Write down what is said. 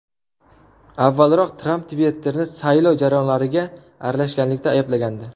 Avvalroq Tramp Twitter’ni saylov jarayonlariga aralashganlikda ayblagandi .